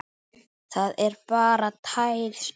Það er bara tær snilld.